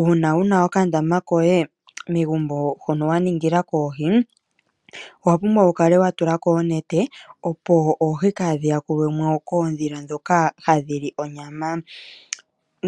Uuna wuna okandama koye megumbo ho no waningila koohi owa pumbwa wu kale watula ko onete opo oohi kadhi yakulwamo koodhila dhoka hadhili onyama